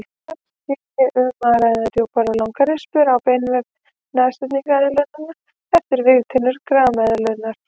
Þar sé um að ræða djúpar og langar rispur á beinvef nashyrningseðlunnar eftir vígtennur grameðlunnar.